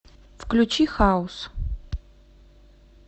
включи хаус